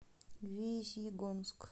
весьегонск